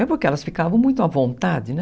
É porque elas ficavam muito à vontade, né?